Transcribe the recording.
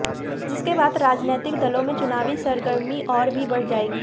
जिसके बाद राजनैतिक दलों में चुनावी सरगर्मी और भी बढ़ जाएगी